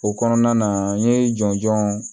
O kɔnɔna na an ye jɔnjɔn